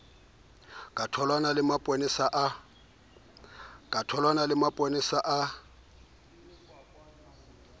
ka tholwana le mapolesa a